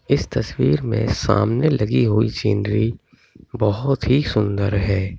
इस तस्वीर में समाने लगी हुई सीनरी बहोत ही सुंदर है।